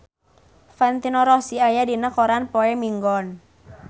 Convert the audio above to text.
Valentino Rossi aya dina koran poe Minggon